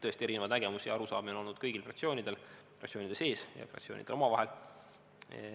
Tõesti, erinevaid nägemusi ja arusaamu on olnud kõigil fraktsioonidel, fraktsioonide sees ja fraktsioonidel omavahel.